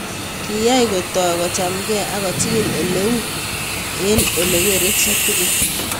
Kiyay kotau kochom ke ako chikil oleu eng ole kere chitugul.